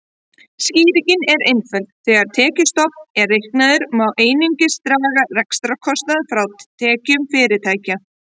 Skýringin er einföld: Þegar tekjuskattsstofn er reiknaður má einungis draga rekstrarkostnað frá tekjum fyrirtækja.